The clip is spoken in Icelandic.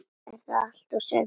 Er það allt og sumt?